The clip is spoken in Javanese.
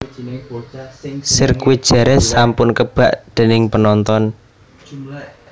Sirkuit Jerez sampun kebak dening penonton